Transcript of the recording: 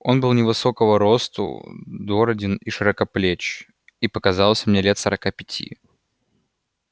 он был невысокого росту дороден и широкоплеч и показался мне лет сорока пяти